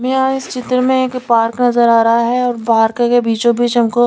में यहां इस चित्र में एक पार्क नजर आ रहा है और पार्क के बीचों बीच हमको--